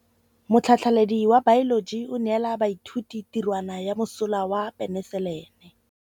Motlhatlhaledi wa baeloji o neela baithuti tirwana ya mosola wa peniselene.